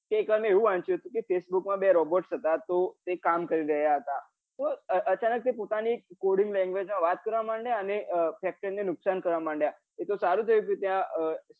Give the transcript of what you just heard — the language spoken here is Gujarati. કે એક વાર મેં એવું વાંચ્યું હતું ફેસબુક માં બે robots હતા તો તે કામ કરી રહ્યા હતા તો અચાનક કે તે પોતાની coding language માં વાત કરવા મંડ્યા અને factory ને નુકસાન કરવા મંડ્યા એતો સારું થયું કે તે